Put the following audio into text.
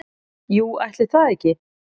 Jú, ætli það ekki